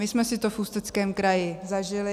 My jsme si to v Ústeckém kraji zažili.